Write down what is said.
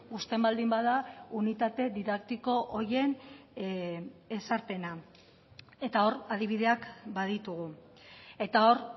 uzten baldin bada unitate didaktiko horien ezarpena eta hor adibideak baditugu eta hor